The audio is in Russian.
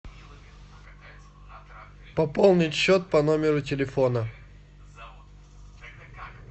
пополнить счет по номеру телефона